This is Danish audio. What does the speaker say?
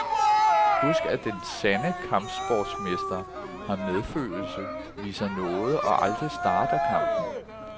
Husk at den sande kampsportsmester har medfølelse, viser nåde og aldrig starter kampen.